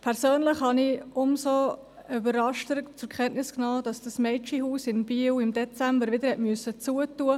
Persönlich habe ich umso überraschter zur Kenntnis genommen, dass das Mädchenhaus in Biel im Dezember wieder schliessen musste.